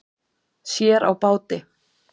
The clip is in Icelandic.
Sér á báti.